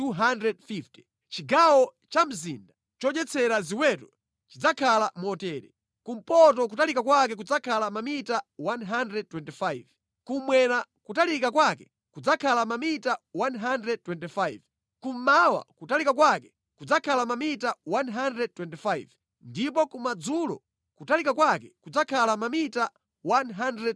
Chigawo cha mzinda chodyetsera ziweto chidzakhala motere: kumpoto kutalika kwake kudzakhala mamita 125, kummwera kutalika kwake kudzakhala mamita 125, kummawa kutalika kwake kudzakhala mamita 125, ndipo kumadzulo kutalika kwake kudzakhala mamita 125.